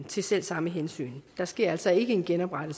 til selv samme hensyn der sker altså ikke en genopretning